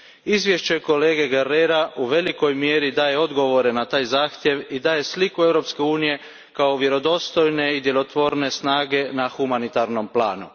Izvješće kolege Guerrera u velikoj mjeri daje odgovore na taj zahtjev i daje sliku Europske unije kao vjerodostojne i djelotvorne snage na humanitarnom planu.